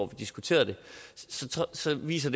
vi diskuterede det så viser